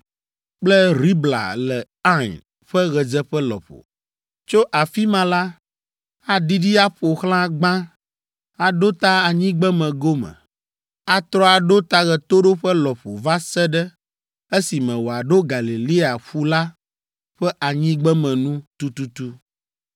kple Ribla le Ain ƒe ɣedzeƒe lɔƒo. Tso afi ma la, aɖiɖi aƒo xlã gbã, aɖo ta anyigbeme gome, atrɔ aɖo ta ɣetoɖoƒe lɔƒo va se ɖe esime wòaɖo Galilea ƒu la ƒe anyigbeme nu tututu.